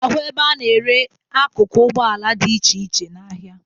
Ị ga-ahụ ebe a na-ere akụkụ ụgbọala dị iche iche n'ahịa